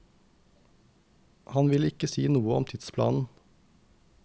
Han vil ikke si noe om tidsplanen.